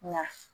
Nka